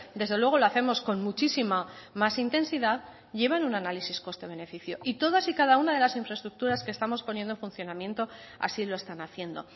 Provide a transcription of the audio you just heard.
desde luego lo hacemos con muchísima más intensidad llevan un análisis coste beneficio y todas y cada una de las infraestructuras que estamos poniendo en funcionamiento así lo están haciendo